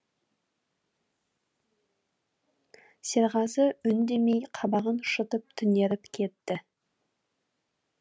серғазы үндемей қабағын шытып түнеріп кетті